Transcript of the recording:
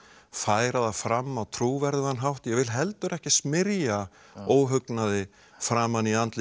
færa það fram á trúverðugan hátt ég vil heldur ekki smyrja óhugnaði framan í andlit